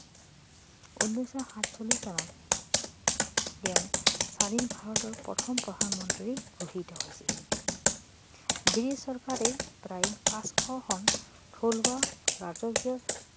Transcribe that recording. উনৈছশ সাতচল্লিছ চনত তেওঁ স্বাধীন ভাৰতৰ প্ৰথম প্ৰধানমন্ত্ৰী ঘোষিত হৈছিল বৃটিছ চৰকাৰে প্ৰায় পাঁচশখন থলুৱা ৰাজকীয়